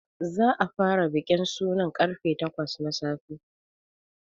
Za a fara bikin suna karfe takwas na safe.